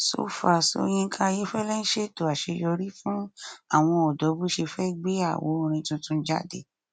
sọ far so yinka ayéfẹlẹ ń ṣètò àṣeyọrí fún àwọn ọdọ bó ṣe fẹ gbé àwo orin tuntun jáde